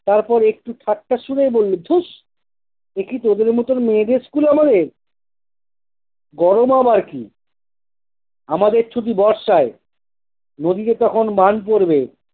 তারপর একটি ঠাট্টা সুরেই বলল- ধুস! একি তোদের মতন মেয়েদের school আমাদের? গরম আবার কি! আমাদের ছুটি বর্ষায়। নদীতে তখন বান পরবে।